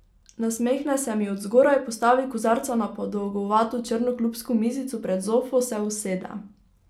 Nasmehne se mi od zgoraj, postavi kozarca na podolgovato črno klubsko mizico pred zofo, se usede.